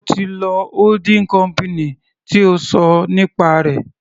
Sé o ti lọ holding company tí o ṣọ nípa rẹ̀.